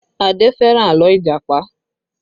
Adé fẹ́ràn àlọ́ Ìjàpá